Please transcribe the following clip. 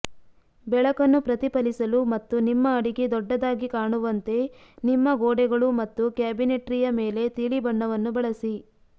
ಬೆಳಕನ್ನು ಪ್ರತಿಫಲಿಸಲು ಮತ್ತು ನಿಮ್ಮ ಅಡಿಗೆ ದೊಡ್ಡದಾಗಿ ಕಾಣುವಂತೆ ನಿಮ್ಮ ಗೋಡೆಗಳು ಮತ್ತು ಕ್ಯಾಬಿನೆಟ್ರಿಯ ಮೇಲೆ ತಿಳಿ ಬಣ್ಣವನ್ನು ಬಳಸಿ